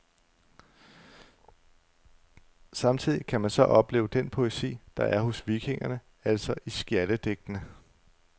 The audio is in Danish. Samtidig kan man så opleve den poesi, der er hos vikingerne, altså i skjaldedigtene.